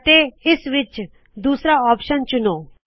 ਅਤੇ ਇਸ ਵਿਚ ਦੂਸਰਾ ਆਪਸ਼ਨ ਚੁਣੋ